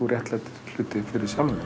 réttlætir það fyrir sjálfum